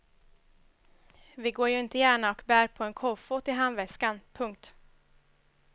Vi går ju inte gärna och bär på en kofot i handväskan. punkt